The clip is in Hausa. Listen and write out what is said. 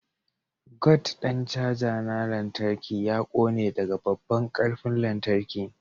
Gut ɗin caja na lantarki ya ƙone daga babban ƙarfin lantarki.